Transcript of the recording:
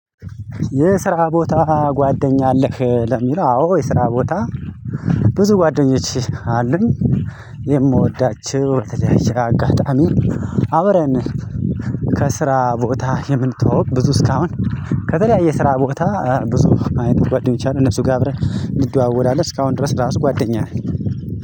የስራ ቦታ ጓደኛ አለህ? ለሚለው አዎ የስራ ቦታ ብዙ ጓደኞች አሉኝ። የምወዳቸው በተያየ አጋጣሚ። አብረን ከስራ ቦታ የምንተዋወቅ ብዙ እስካሁን ከተለያየ ስራ ቦታ። ብዙ አይነት ጓደኞች አሉ እነሱ ጋር አብረን እንደዋወላለን እስካሁን ድረስ ራሱ ጓደኛ።